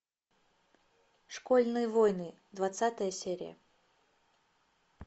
школьные войны двадцатая серия